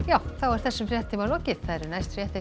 þessum fréttatíma er lokið næstu fréttir